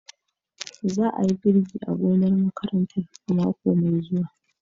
Za a yi girbi a gonar makarantar a mako mai zuwa.